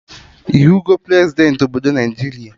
Ịhụgọ Prezidentị obodo Naijiria?